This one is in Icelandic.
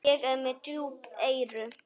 Ég er með djúp eyru.